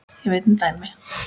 Ég veit um dæmi þess.